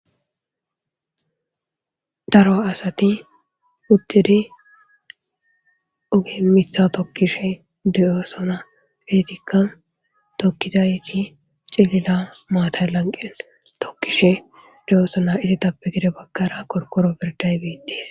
daro asati uttedi oge mitha tokkishe diyoosona izitikka tokkizayti cilila maatan lanqen tokkishe de7osona isitappe gide bagkara korkoro birday beettees